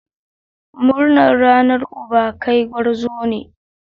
Murnar Ranar Uba! kai gwarzo ne!